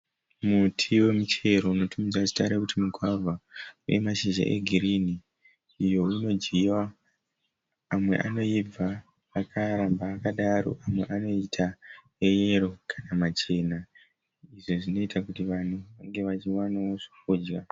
Muti wemuchero unotumidzwa zita rekuti mugwavha. Une mashizha egirinhi, uyo unodyiwa, amwe anoibva akaramba akadaro amwe anoita eyero kana machena izvo zvinoita kuti vanhu vange vachiwanawo zvekudya